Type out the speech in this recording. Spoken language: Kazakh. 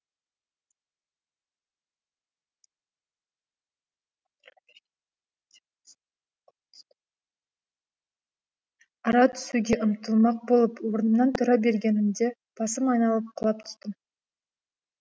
ара түсуге ұмтылмақ болып орнымнан тұра бергенімде басым айналып құлап түстім